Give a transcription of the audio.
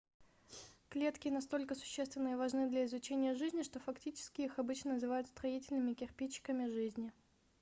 клетки настолько существенны и важны для изучения жизни что фактически их обычно называют строительными кирпичиками жизни